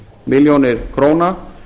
milljónir króna